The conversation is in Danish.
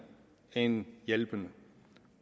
end hjælpende